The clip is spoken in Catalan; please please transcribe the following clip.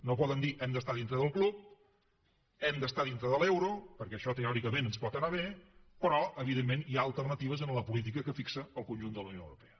no poden dir hem d’estar dintre del club hem d’estar dintre de l’euro perquè això teòricament ens pot anar bé però evidentment hi ha alternatives a la política que fixa el conjunt de la unió europea